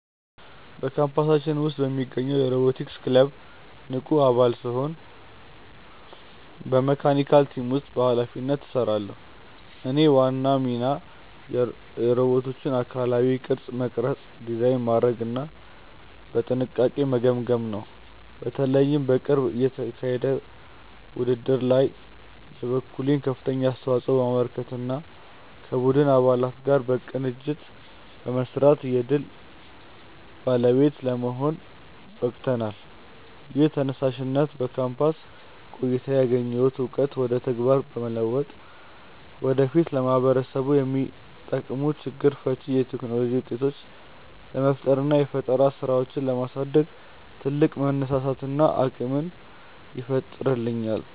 በካምፓሳችን ውስጥ በሚገኘው የሮቦቲክስ ክለብ ውስጥ ንቁ አባል ስሆን በመካኒካል ቲም ውስጥ በኃላፊነት እሰራለሁ። የእኔ ዋና ሚና የሮቦቶቹን አካላዊ ቅርጽ መቅረጽ፣ ዲዛይን ማድረግና በጥንቃቄ መገጣጠም ነው። በተለይ በቅርቡ በተካሄደው ውድድር ላይ የበኩሌን ከፍተኛ አስተዋጽኦ በማበርከትና ከቡድን አባላት ጋር በቅንጅት በመስራት የድል ባለቤት ለመሆን በቅተናል። ይህ ተነሳሽነት በካምፓስ ቆይታዬ ያገኘሁትን እውቀት ወደ ተግባር በመለወጥ ወደፊት ለማህበረሰቡ የሚጠቅሙ ችግር ፈቺ የቴክኖሎጂ ውጤቶችን ለመፍጠርና የፈጠራ ስራዎችን ለማሳደግ ትልቅ መነሳሳትንና አቅምን ይፈጥርልኛል።